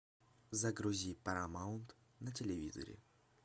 загрузи парамаунт на телевизоре